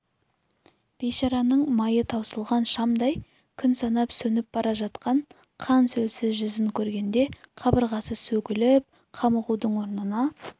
бейшараның майы таусылған шамдай күн санап сөніп бара жатқан қан-сөлсіз жүзін көргенде қабырғасы сөгіліп қамығудың орнына